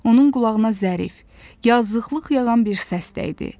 Onun qulağına zərif, yazılıqlıq yaran bir səs dəydi.